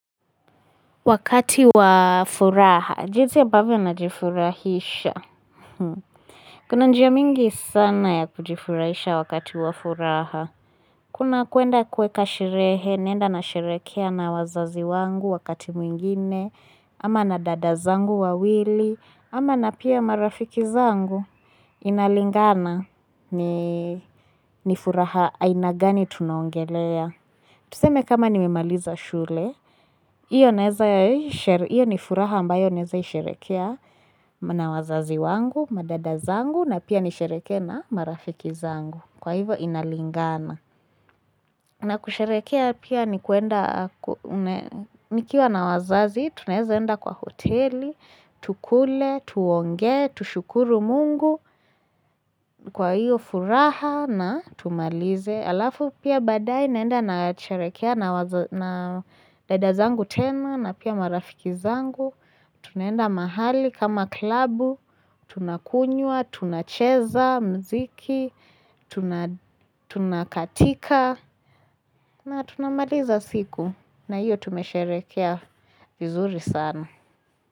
Wakati wa furaha, jinsi ambavyo najifurahisha. Kuna njia mingi sana ya kujifurahisha wakati wa furaha. Kuna kuenda kuweka sherehe, naenda nasherehekea na wazazi wangu wakati mwingine, ama na dada zangu wawili, ama na pia marafiki zangu, inalingana ni furaha aina gani tunaongelea. Tuseme kama nimemaliza shule, hiyo ni furaha ambayo naeza isherehekea na wazazi wangu, madada zangu, na pia nisherehekee na marafiki zangu. Kwa hivo inalingana. Na kusherehekea pia ni kuenda, nikiwa na wazazi, tunaeza enda kwa hoteli, tukule, tuongee, tushukuru mungu, kwa hiyo furaha na tumalize. Alafu pia baadaye naenda nasherehekea na dada zangu tena na pia marafiki zangu. Tunaenda mahali kama klabu. Tunakunywa, tunacheza, muziki. Tunakatika na tunamaliza siku. Na hiyo tumesherehekea vizuri sana.